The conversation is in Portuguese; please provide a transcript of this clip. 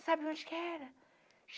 Sabe onde que era?